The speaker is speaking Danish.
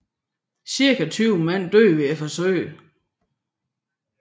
Cirka 20 mand døde ved forsøget